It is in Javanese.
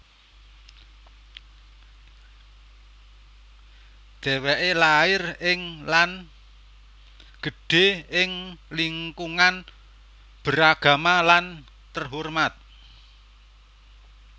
Dheweke lair ing lan gedhe ing lingkungan beragama lan terhormat